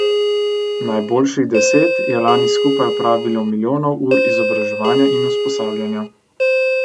Najboljših deset je lani skupaj opravilo milijonov ur izobraževanja in usposabljanja.